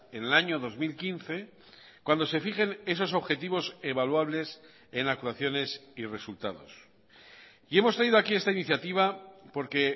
en el año dos mil quince cuando se fijen esos objetivos evaluables en actuaciones y resultados y hemos traído aquí esta iniciativa porque